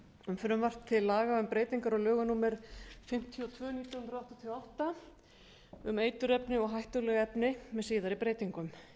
um frumvarp til laga um breytingar á lögum númer fimmtíu og tvö nítján hundruð áttatíu og átta um eiturefni og hættuleg efni með síðari breytingum